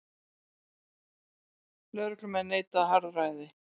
Lögreglumenn neita harðræði